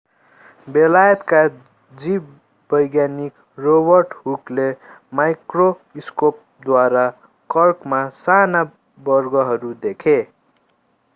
बेलायतका जीववैज्ञानिक रोबर्ट हुकले माइक्रोस्कोपद्वारा कर्कमा साना वर्गहरू देखे